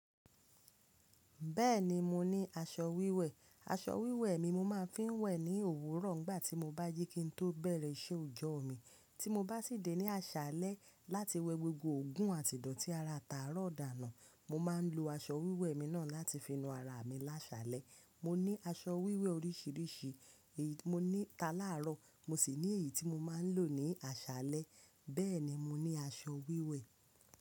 Bẹ́ẹ̀ni, mo ní aṣọ wíwẹ̀. Aṣọ wíwẹ̀ mi mo máa ń fi ń wẹ̀ ní òwúrọ̀ nígbà tí mo bá jí kí n tó bẹ̀rẹ̀ iṣẹ́ òjọ́ mi. Tí mo bá sì dé ní aṣálẹ́ láti wẹ gbogbo òogùn àti ìdọ̀tí ara táàrọ̀ dànù. Mo máa ń lo aṣọ wíwẹ̀ mi náà láti fi nu ara mi lásálẹ́. Mo ní aṣọ wíwẹ̀ oríṣiríṣi, èyí mo ní ta láàárọ̀, mo sì ní èyí tí mo máa ń lò ní aṣálẹ́. Bẹ́ẹ̀ni, mo ní aṣọ wíwẹ̀.